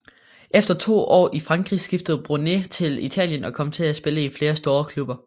Efter to år i Frankrig skiftede Bronée til Italien og kom til at spille i flere store klubber